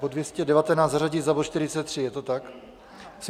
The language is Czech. Bod 219 zařadit za bod 43, je to tak.